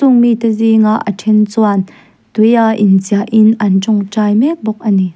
chûng mite zînga a ṭhen chuan tui a in chiah in an ṭawngṭai mek bawk ani.